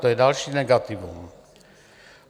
To je další negativum.